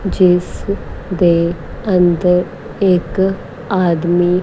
ਜਿਸ ਦੇ ਅੰਦਰ ਇੱਕ ਆਦਮੀ--